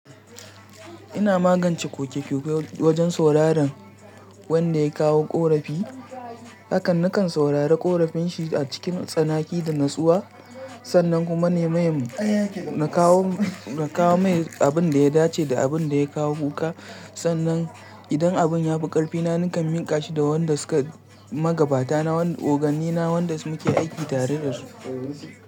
Ina magance ƙoke-ƙoke wajen sauraron wanda ya kawo ƙorafi. Hakan nakan saurari ƙorafin shi a cikin tsanaki da natsuwa. Sannan kuma na maimu na kawo mai abin da ya dace da abin da ya kawo kuka. Sannan idan abin ya fi ƙarfina nakan miƙa shi da wanda suka magabata na, oganni na waɗanda muke aiki tare da su.